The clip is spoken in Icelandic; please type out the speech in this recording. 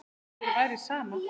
Ef þér væri sama.